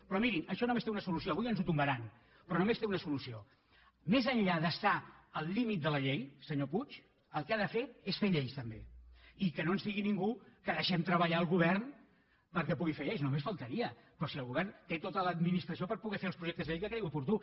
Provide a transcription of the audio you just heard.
però mirin això només té una solució avui ens ho tombaran però només té una solució més enllà d’es·tar al límit de la llei senyor puig el que ha de fer és fer lleis també i que no ens digui ningú que deixem treballar el govern perquè pugui fer lleis només fal·taria però si el govern té tota l’administració per poder fer els projectes de llei que cregui oportú